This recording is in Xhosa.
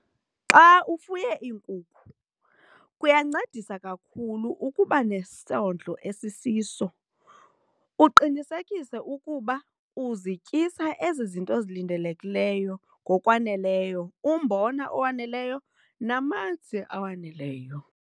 Xa ufuye iinkukhu kuyancedisa kakhulu ukuba nesondlo esisiso uqinisekise ukuba uzityisa ezi zinto zilindelekileyo ngokwaneleyo umbona owaneleyo namanzi awaneleyo.